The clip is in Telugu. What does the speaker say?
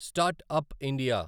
start up India